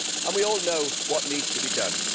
We all know what needs to be done.